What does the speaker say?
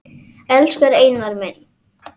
Elsku Einar minn.